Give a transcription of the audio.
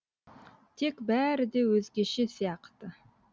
тек бәрі де өзгеше сияқты